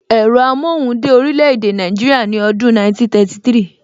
Ẹ̀rọ amóhùn dé orílè èdè Nàìjíríà ní ọdún 1933